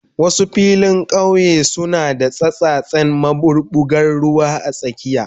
Wasu filin kauye suna da tsattsasen maɓuɓɓugar ruwa a tsakiya.